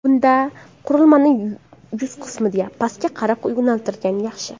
Bunda qurilmani yuz qismidan pastga qarab yo‘naltirgan yaxshi.